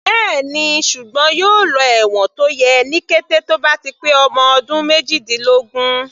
Bẹ́ẹ̀ni, ṣùgbọ́n yóò lọ ẹ̀wọ̀n tó yẹ ní kété tó bá ti pé ọmọ ọdún méjìdínlógún.